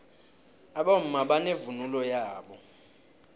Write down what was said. abomma banevunulo yabo